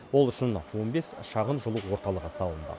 ол үшін он бес шағын жылу орталығы салынды